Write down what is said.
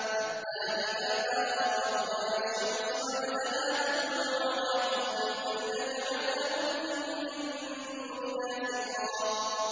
حَتَّىٰ إِذَا بَلَغَ مَطْلِعَ الشَّمْسِ وَجَدَهَا تَطْلُعُ عَلَىٰ قَوْمٍ لَّمْ نَجْعَل لَّهُم مِّن دُونِهَا سِتْرًا